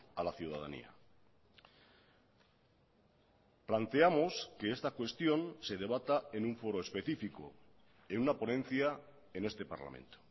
a la ciudadanía planteamos que esta cuestión se debata en un foro específico en una ponencia en este parlamento